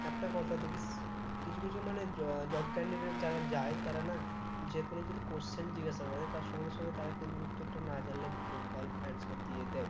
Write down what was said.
কিছু কিছু মানে আহ job candidate যারা যায় তারা না যেকোনো যদি question জিজ্ঞেস করে তার সঙ্গে সঙ্গে তারা কিন্তু উত্তরটা না জানলে ভুলভাল answer দিয়ে দেই